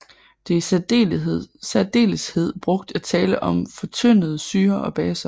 Det er i særdeleshed brugt at tale om fortyndede syrer og baser